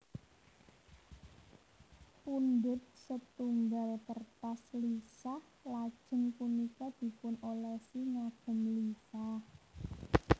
Pundhut sêtunggal kêrtas lisah lajêng punika dipunolèsi ngagêm lisah